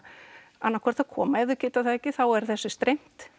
annað hvort að koma en ef þau geta það ekki þá er þessu streymt